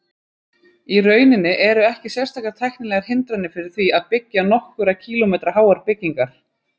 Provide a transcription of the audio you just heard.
Í rauninni eru ekki sérstakar tæknilegar hindranir fyrir því að byggja nokkurra kílómetra háar byggingar.